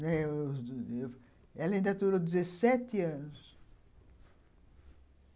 Ela ainda durou dezessete anos.